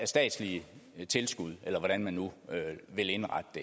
statslige tilskud eller hvordan man nu vil indrette det